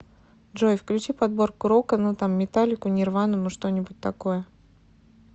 джой включи подборку рока ну там металлику нирвану ну что нибудь такое